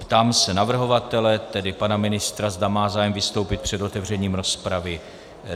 Ptám se navrhovatele, tedy pana ministra, zda má zájem vystoupit před otevřením rozpravy.